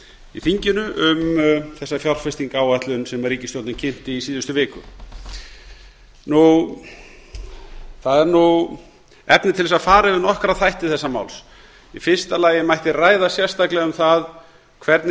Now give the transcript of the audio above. í þinginu um þessa fjárfestingaráætlun sem ríkisstjórnin kynnt í síðustu viku það eru efni til að fara yfir nokkra þætti þessa máls í fyrsta lagi mætti ræða sérstaklega um það hvernig